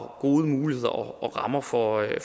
gode muligheder og rammer for at